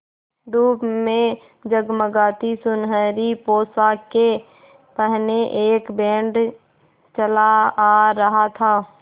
धूप में जगमगाती सुनहरी पोशाकें पहने एक बैंड चला आ रहा था